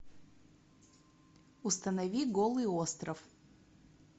установи голый остров